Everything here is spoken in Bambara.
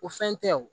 O fɛn tɛ o